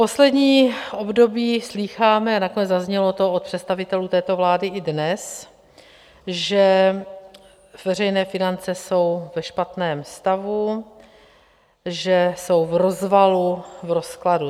Poslední období slýcháme, nakonec zaznělo to od představitelů této vlády i dnes, že veřejné finance jsou ve špatném stavu, že jsou v rozvalu, v rozkladu.